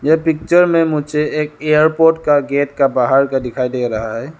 ये पिक्चर में मुझे एक एयरपोर्ट का गेट का बाहर का दिखाई दे रहा है।